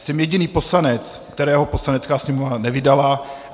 Jsem jediný poslanec, kterého Poslanecká sněmovna nevydala.